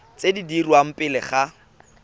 tse di dirwang pele ga